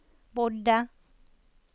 bodde